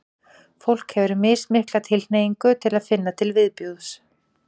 fólk hefur mismikla tilhneigingu til að finna til viðbjóðs